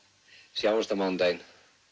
sjáumst á mánudaginn